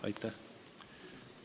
Aitäh!